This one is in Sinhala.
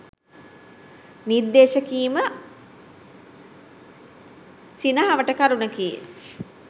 නිර්දේශ කිරීම සිනහවට කරුණකි